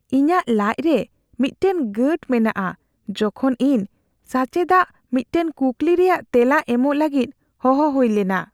ᱤᱧᱟᱹᱜ ᱞᱟᱡ ᱨᱮ ᱢᱤᱫᱴᱟᱝ ᱜᱟᱺᱴ ᱢᱮᱱᱟᱜᱼᱟ ᱡᱚᱠᱷᱚᱡ ᱤᱧ ᱥᱟᱪᱮᱫᱟᱜ ᱢᱤᱫᱴᱟᱝ ᱠᱩᱠᱞᱤ ᱨᱮᱭᱟᱜ ᱛᱮᱞᱟ ᱮᱢᱚᱜ ᱞᱟᱹᱜᱤᱫ ᱦᱚᱦᱚ ᱦᱩᱭ ᱞᱮᱱᱟ ᱾